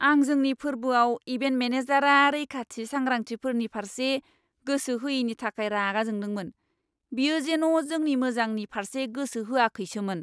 आं जोंनि फोरबोआव इभेन्ट मेनेजारआ रैखाथि सांग्रांथिफोरनि फारसे गोसो होयिनि थाखाय रागा जोंदोंमोन। बियो जेन' जोंनि मोजांनि फारसे गोसो होआखैसोमोन।